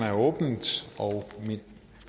er åbnet